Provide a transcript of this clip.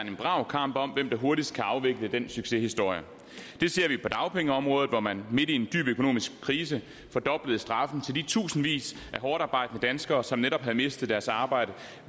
en brav kamp om hvem der hurtigst kan afvikle den succeshistorie det ser vi på dagpengeområdet hvor man midt i en dyb økonomisk krise fordoblede straffen til de tusindvis af hårdtarbejdende danskere som netop havde mistet deres arbejde